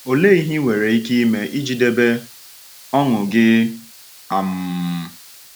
Ọ̀lee ihe ị nwere ike ime iji debe ọṅụ gị? um